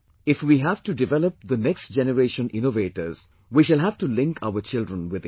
If we have to develop the next generation innovators, we shall have to link our children with it